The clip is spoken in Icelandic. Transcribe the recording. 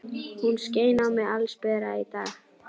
Hún skein á mig allsbera í dag.